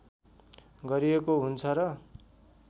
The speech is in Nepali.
गरिएको हुन्छ र